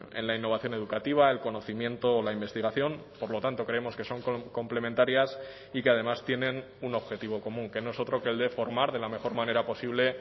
en la innovación educativa el conocimiento la investigación por lo tanto creemos que son complementarias y que además tienen un objetivo común que no es otro que el de formar de la mejor manera posible